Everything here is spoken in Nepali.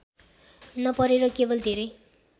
नपरेर केवल धेरै